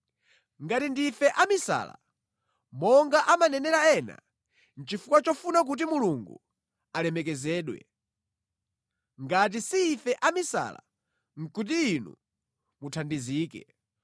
Ngati ndife amisala, monga amanenera ena, nʼchifukwa chofuna kuti Mulungu alemekezedwe. Ngati si ife amisala, nʼkuti inu muthandizike.